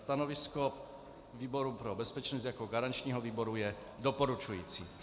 Stanovisko výboru pro bezpečnost jako garančního výboru je doporučující.